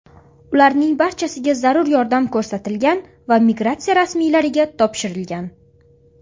Ularning barchasiga zarur yordam ko‘rsatilgan va migratsiya rasmiylariga topshirilgan.